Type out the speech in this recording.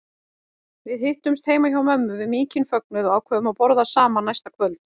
Við hittumst heima hjá mömmu við mikinn fögnuð og ákváðum að borða saman næsta kvöld.